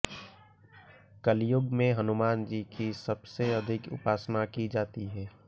कलयुग में हनुमानजी की सबसे अधिक उपासना की जाती है